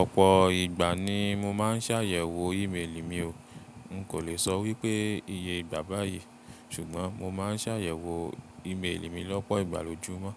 Ọ̀pọ̀ ìgbà ni mo má ń ṣ'àyẹ̀wò ìméèlì mi o. N kò lè sọ wípé iye ìgbà báyìí ṣùgbọ́n mo má ń ṣ'àyẹ̀wò ìméèlì mi lọ́pọ̀ ìgbà lójú mọ́.